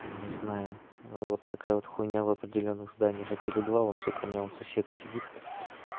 не знаю вот такая вот хуйня в определённых зданиях а теле два вон сука у меня сосед сидит